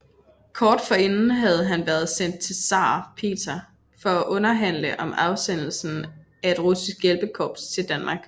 Kort forinden havde han været sendt til zar Peter for at underhandle om afsendelsen af et russisk hjælpekorps til Danmark